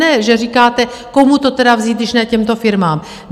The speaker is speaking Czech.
... ne, že říkáte, komu to teda vzít, když ne těmto firmám.